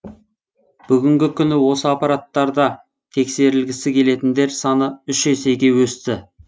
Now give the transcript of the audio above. бүгінгі күні осы аппараттарда тексерілгісі келетіндер саны үш есеге өсті